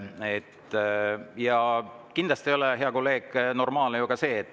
Ja kindlasti ei ole, hea kolleeg, normaalne ka usaldusküsimusega sidumine.